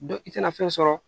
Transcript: Dɔ i tɛna fɛn sɔrɔ